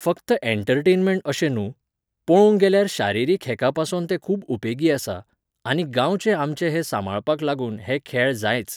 फक्त एण्टरटेनमेण्ट अशें न्हूं, पोळोवंक गेल्यार शारिरीक हेकापासोन तें खूब उपेगी आसा, आनी गांवचें आमचें हें सांबाळपाक लागून हे खेळ जायच.